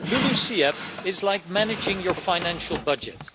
LULUCF is like managing your financial budget.